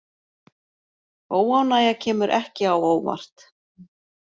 Óánægja kemur ekki á óvart